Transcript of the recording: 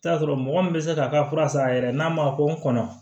I bi t'a sɔrɔ mɔgɔ min bɛ se k'a ka fura san a yɛrɛ ye n'a ma ko n kɔnɔ